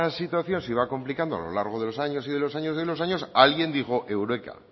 situación se iba complicando a lo largo de los años y de los años y de los años alguien dijo eureka